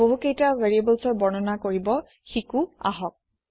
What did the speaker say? বহুকেইটা ভেৰিয়েবোলৰ বৰ্ণনা কৰিব শিকো আহক